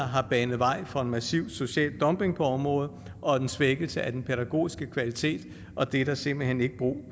har banet vej for en massiv social dumping på området og en svækkelse af den pædagogiske kvalitet og det er der simpelt hen ikke brug